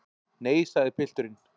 Nei, sagði pilturinn.